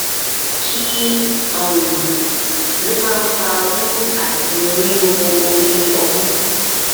kí um ló máa ń fa wiwu àti riro ori omu um